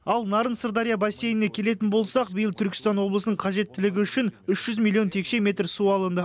ал нарын сырдария бассейніне келетін болсақ биыл түркістан облысының қажеттілігі үшін үш жүз миллион текше метр су алынды